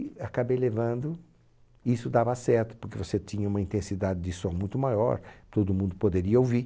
E acabei levando, e isso dava certo, porque você tinha uma intensidade de som muito maior, todo mundo poderia ouvir.